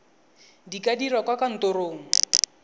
di ka dirwa kwa kantorong